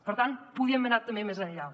per tant podíem haver anat també més enllà